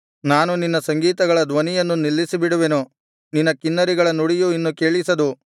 ನಾನು ನಿನ್ನ ಸಂಗೀತಗಳ ಧ್ವನಿಯನ್ನು ನಿಲ್ಲಿಸಿಬಿಡುವೆನು ನಿನ್ನ ಕಿನ್ನರಿಗಳ ನುಡಿಯು ಇನ್ನು ಕೇಳಿಸದು